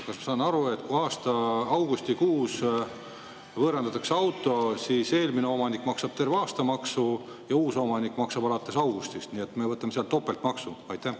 Kas ma saan õigesti aru, et kui augustikuus võõrandatakse auto, siis eelmine omanik maksab terve aasta maksu ja uus omanik maksab alates augustist, nii et me võtame sealt topeltmaksu?